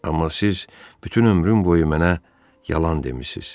Amma siz bütün ömrüm boyu mənə yalan demisiz.